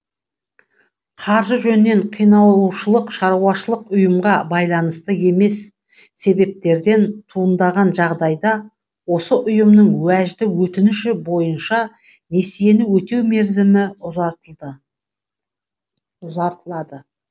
қаржы жөнінен қиналушылық шаруашылық ұйымға байланысты емес себептерден туындаған жағдайда осы ұйымның уәжді өтініші бойынша несиені өтеу мерзімі ұзартылады